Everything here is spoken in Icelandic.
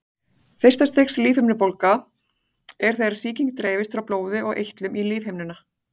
Fyrsta stigs lífhimnubólga er þegar sýking dreifist frá blóði og eitlum í lífhimnuna.